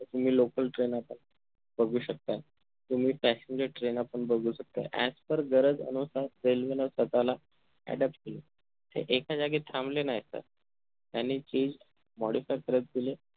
तुम्ही local train आपण बघू शकता तुम्ही passenger train आपण बघू शकता as per गरज railway न स्वताला adapt केलं हे एका जागी थांबले नाही तर त्यांनी चीज modify करत गेले